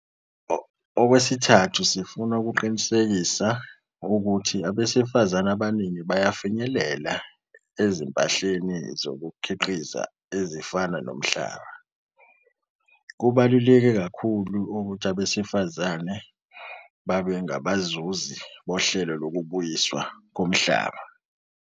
Okwesithathu, sifuna ukuqinisekisa ukuthi abesifazane abaningi bayafinyelela ezimpahleni zokukhiqiza ezifana nomhlaba. Kubaluleke kakhulu ukuthi abesifazane babe ngabazuzi bohlelo lokubuyiswa komhlaba.